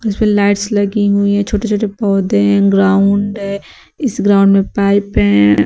फिर लाइट्स लगी हुई हैं छोटे छोटे पौधे हैं ग्राउंड है इस ग्राउंड में पाइप हैं।